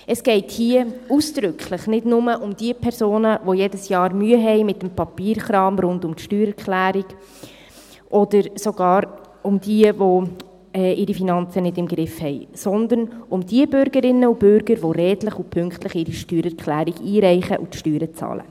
Es geht hier ausdrücklich nicht nur um diejenigen Personen, die jedes Jahr Mühe mit dem Papierkram rund um die Steuererklärung haben, oder sogar um diejenigen, die ihre Finanzen nicht im Griff haben, sondern um diejenigen Bürgerinnen und Bürger, die redlich und pünktlich ihre Steuererklärung einreichen und die Steuern bezahlen.